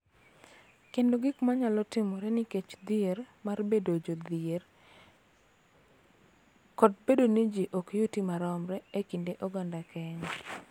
Kendo gik ma nyalo timore nikech dhier mar bedo jodhier kod bedo ni ji ok yuti maromre e kind oganda Kenya.